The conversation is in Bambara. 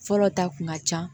Fɔlɔ ta kun ka ca